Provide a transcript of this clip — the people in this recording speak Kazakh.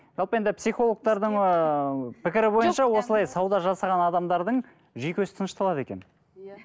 жалпы енді психологтардың ыыы пікірі бойынша осылай сауда жасаған адамдардың жүйкесі тынышталады екен иә